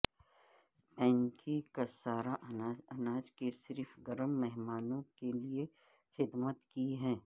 pancakes سارا اناج اناج کے صرف گرم مہمانوں کے لئے خدمت کی ہے